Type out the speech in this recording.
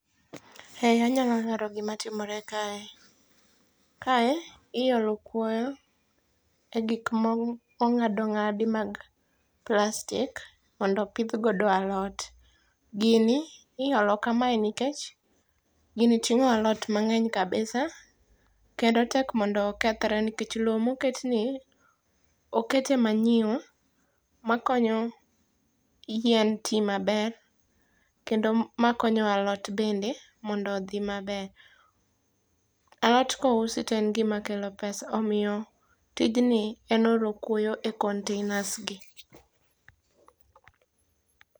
E anyalo lero gima timore kae. Kae iolo kwoyo e gik mong'ad ong'ad mag plastic mondo opidh godo alot. Gini ing'olo kamae nikech gini ting'o alot mang'eny kabisa kendo tek mondo okethre nikech lowo moket ni oket e manyiwa makonyo yien ti maber kendo makonyo alot bende mondo odhi maber. Alot ka ousi to en gima keo pesa. Omiyo tijni en olo kwoyo e containers gi.